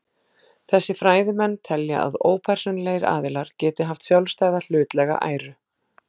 Þessir fræðimenn telja að ópersónulegir aðilar geti haft sjálfstæða hlutlæga æru.